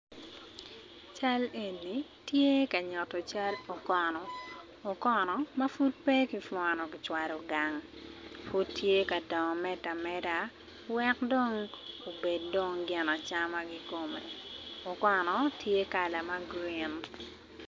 Cal eni tye ka nyuto cal okono okono ma pud pe kipwono kicwalo gang pud tye ka dongo medde ameda weko dong obed gin acama kikome okono tye kala ma grin.